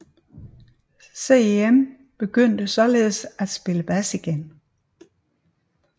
Cem begyndte således at spille bas igen